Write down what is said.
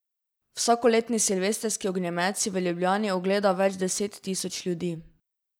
Vsakoletni silvestrski ognjemet si v Ljubljani ogleda več deset tisoč ljudi.